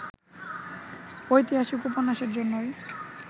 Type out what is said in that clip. ঐতিহাসিক উপন্যাসের জন্যই